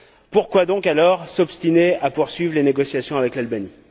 Pourquoi alors s'obstiner à poursuivre les négociations avec l'Albanie?